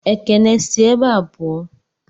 Ekene, si ebé a puo!